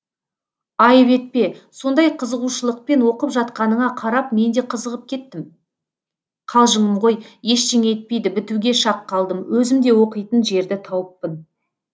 айып етпе сондай қызығушылықпен оқып жатқаныңа қарап мен де қызығып кеттім қалжыңым ғой ештеңе етпейді бітуге шақ қалдым өзім де оқитын жерді тауыппын